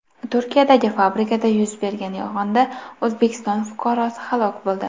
Turkiyadagi fabrikada yuz bergan yong‘inda O‘zbekiston fuqarosi halok bo‘ldi.